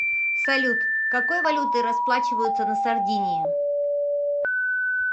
салют какой валютой расплачиваются на сардинии